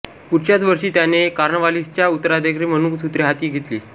पुढच्याच वर्षी त्याने कॉर्नवालिसचा उत्तराधिकारी म्हणून सूत्रे हाती घेतली